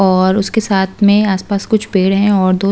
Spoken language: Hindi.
और उसके साथ में आसपास कुछ पेड़ हैं और --